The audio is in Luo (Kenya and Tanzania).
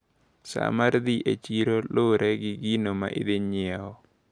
Saa mar dhi e chiro lure gi gino maidhi nyiewo.